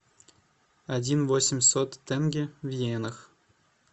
один восемьсот тенге в йенах